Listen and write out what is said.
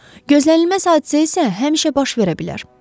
Gözlənilməz hadisə isə həmişə baş verə bilər.